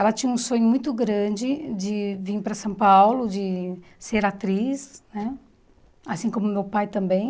Ela tinha um sonho muito grande de vim para São Paulo, de ser atriz né, assim como meu pai também.